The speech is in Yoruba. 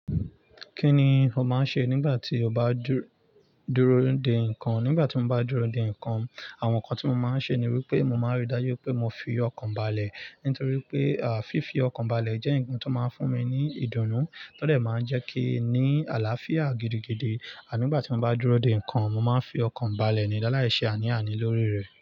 Kí ni o máa ń ṣe nígbà tí o bá dúró de nǹkan? Nígbà tí mo bá dúró de nǹkan, àwọn nǹkan tí mo máa ń ṣe ni wípé mo máa ń rí dájú pé mo fi ọkàn balẹ̀. Nítorí pé, à, fífi ọkàn balẹ̀ jẹ́ nǹkan tó máa ń fún mi ní ìdùnnú. Tọ́dẹ̀ máa ń jẹ́ kí i ní àlàáfíà gidigidi. À nígbà tí mo bá dúró de nǹkan, mo máa ń fi ọkàn balẹ̀ ni láì ṣe àní àní lórí rẹ̀.